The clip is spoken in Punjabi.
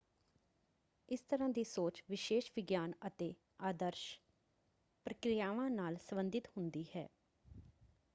ਇਸ ਤਰ੍ਹਾਂ ਦੀ ਸੋਚ ਵਿਸ਼ੇਸ਼ ਵਿਗਿਆਨ ਅਤੇ ਆਦਰਸ਼ ਪ੍ਰਕਿਰਿਆਵਾਂ ਨਾਲ ਸੰਬੰਧਿਤ ਹੁੰਦੀ ਹੈ।